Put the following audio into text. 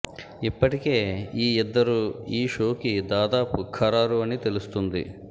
ఇప్పటికే ఈ ఇద్దరు ఈ షోకి దాదాపు ఖరారు అని తెలుస్తుంది